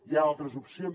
hi ha altres opcions